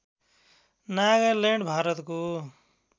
नागालैन्ड भारतको